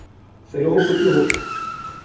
se le hopotse ho ya